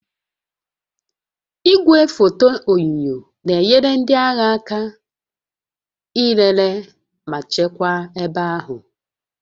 Igwefoto onyunyo na-enyere ndị agha aka ilele ma chekwaa ebe ahụ